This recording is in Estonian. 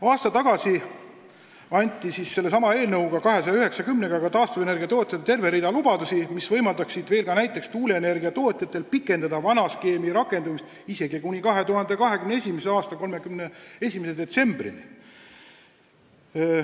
Aasta tagasi anti sellesama eelnõuga nr 290 taastuvenergia tootjatele terve rida lubadusi, mis võimaldaksid näiteks tuuleenergia tootjatel pikendada vana skeemi rakendamist isegi kuni 2021. aasta 31. detsembrini.